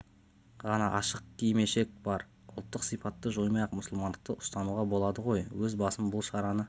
ғана ашық кимешек бар ұлттық сипатты жоймай-ақ мұсылмандықты ұстануға болады ғой өз басым бұл шараны